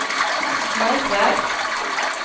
Maj Svärd